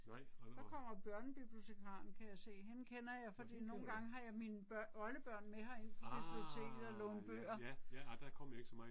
Der kommer børnebibliotekaren kan jeg se, hende kender jeg fordi nogle gange har jeg mine oldebørn med ind på biblioteket og låne bøger